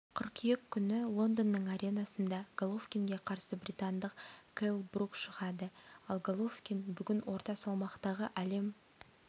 қыркүйек күні лондонның аренасында головкинге қарсы британдық келл брук шығады ал головкин бүгін орта салмақтағы әлем